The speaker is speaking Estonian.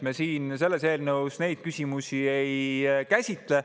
Me siin selles eelnõus neid küsimusi ei käsitle.